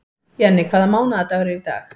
Jenni, hvaða mánaðardagur er í dag?